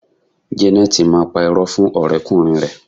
Jeneti máa pá irọ́ fún ọ̀rẹ́ kùnrin rẹ